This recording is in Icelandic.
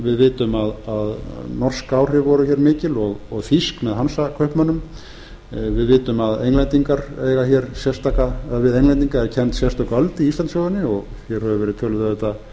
við vitum að norsk áhrif voru hér mikil og þýsk með hansakaupmönnum við vitum að við englendinga er kennd sérstök öld í íslandssögunni og hér hefur verið töluð auðvitað